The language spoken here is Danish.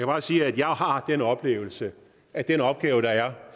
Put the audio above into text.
bare sige at jeg har den oplevelse at den opgave der er